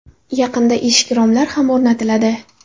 Yaqinda eshik-romlar ham o‘rnatiladi.